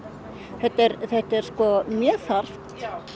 þetta er þetta er mjög þarft